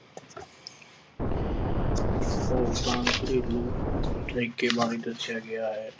ਔਰਤਾਂ ਨੂੰ ਘਰੇਲੂ ਤਰੀਕੇ ਬਾਰੇ ਦੱਸਿਆ ਗਿਆ ਹੈ।